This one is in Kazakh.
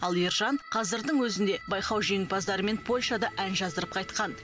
ал ержан қазірдің өзінде байқау жеңімпаздарымен польшада ән жаздырып қайтқан